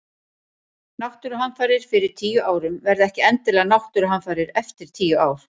Náttúruhamfarir fyrir tíu árum verða ekki endilega náttúruhamfarir eftir tíu ár.